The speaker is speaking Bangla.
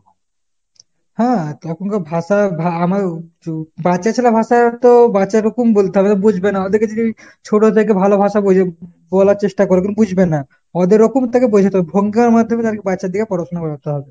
হ্যাঁ তখনকার ভাষা বাচ্চা ছেলের ভাষা তো বাচ্চা রকম বলতে হবে বুঝবে না ওদেরকে যদি আমি ছোট থেকে ভালো ভাষা বলি~ বলার চেষ্টা করি বুঝবেনা। ওদের রকম থেকে বোঝাতে হবে। মাধ্যমে বাচ্চাদেরকে পড়াশুনা করাতে হবে।